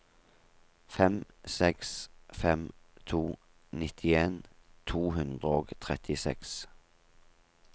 fem seks fem to nittien to hundre og trettiseks